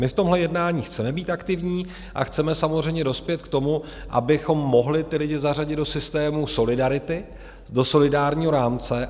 My v tomhle jednání chceme být aktivní a chceme samozřejmě dospět k tomu, abychom mohli ty lidi zařadit do systému solidarity, do solidárního rámce.